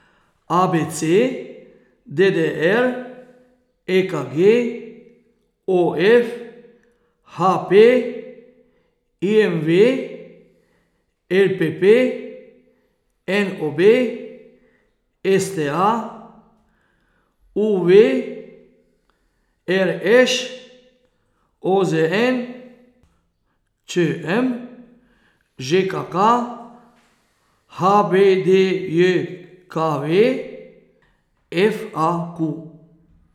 A B C; D D R; E K G; O F; H P; I M V; L P P; N O B; S T A; U V; R Š; O Z N; Č M; Ž K K; H B D J K V; F A Q.